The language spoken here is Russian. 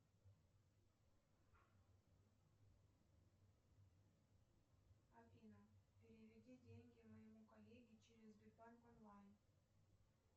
афина переведи деньги моему коллеге через сбербанк онлайн